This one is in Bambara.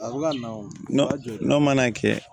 N'o mana kɛ